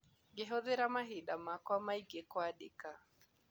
Ngĩhũthĩra mahinda makwa maingĩ kwandĩka.